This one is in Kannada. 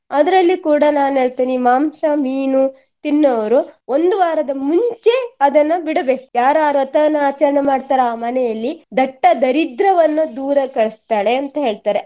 ಅದರಲ್ಲಿಯೂ ಕೂಡಾ ನಾನು ಹೇಳ್ತೇನೆ ಮಾಂಸ, ಮೀನು ತಿನ್ನುವವರು ಒಂದು ವಾರದ ಮುಂಚೆ ಅದನ್ನು ಬಿಡಬೇಕು ಯಾರ್ಯಾರು ವ್ರತವನ್ನ ಆಚರಣೆ ಮಾಡ್ತಾರೋ ಆ ಮನೆಯಲ್ಲಿ ದಟ್ಟ ದರಿದ್ರವನ್ನು ದೂರ ಕಳಿಸ್ತಾಳೆ ಅಂತ ಹೇಳ್ತಾರೆ.